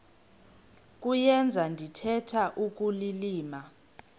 kuyenza ndithetha ukulilima